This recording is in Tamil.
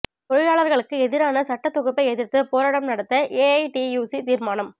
தொழிலாளா்களுக்கு எதிரான சட்டத் தொகுப்பை எதிர்த்து போராட்டம் நடத்த ஏஐடியுசி தீா்மானம்